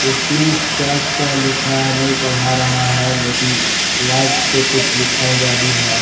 उसमें क्या क्या लिखा है नहीं पढ़ रहा है लेकिन वाइट से कुछ लिखा हुआ भी है।